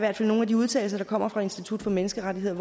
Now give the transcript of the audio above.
er nogle af de udtalelser der kommer fra institut for menneskerettigheder